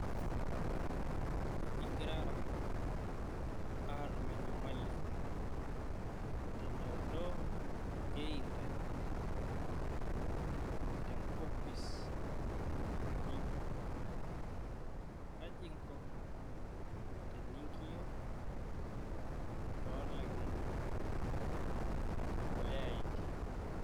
Ingirara atum enyamali tenchoto e intanet nenkopis inyi, kaji inko tenikio tolangeni..